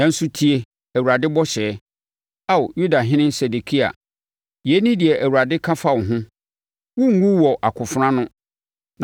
“ ‘Nanso tie Awurade bɔhyɛ, Ao, Yudahene Sedekia. Yei ne deɛ Awurade ka fa wo ho: Worenwu wɔ akofena ano;